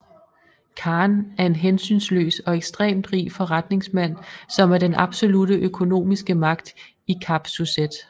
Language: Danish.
Khan er en hensynsløs og ekstremt rig forretningsmand som er den absolutte økonomiske magt i Kap Suzette